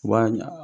U b'a ɲa